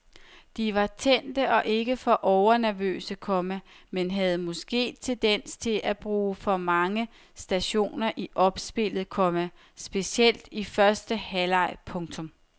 De var tændte og ikke for overnervøse, komma men havde måske tendens til at bruge for mange stationer i opspillet, komma specielt i første halvleg. punktum